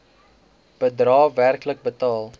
bedrae werklik betaal